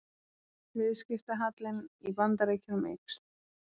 Viðskiptahallinn í Bandaríkjunum eykst